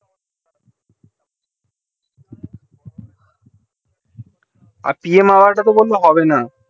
pmhour তা তো বললো হবে না